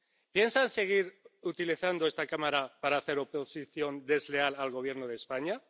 ¿Piensan seguir utilizando esta Cámara para hacer oposición desleal al Gobierno de España?